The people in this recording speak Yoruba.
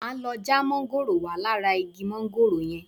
Máa lọ já mángòrò wá lára igi mángòrò yẹn.